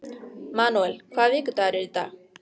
Manúel, hvaða vikudagur er í dag?